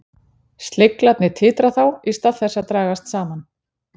Sleglarnir titra þá í stað þess að dragast saman.